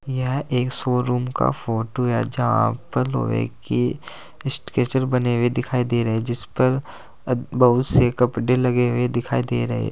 यह एक शोरूम का फोटो है यहां पर लोहे की बने हुए दिखाई दे रहा है जिस पर बहुत से कपड़े लगे हुए दिखाई दे रहे--